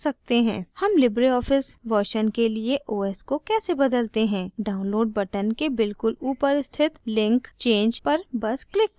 how Libre Office version के लिए os को कैसे बदलते हैं download button के बिल्कुल ऊपर स्थित link change पर os click करें